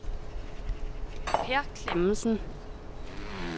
Peer Clemmensen